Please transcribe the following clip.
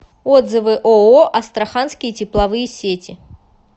отзывы ооо астраханские тепловые сети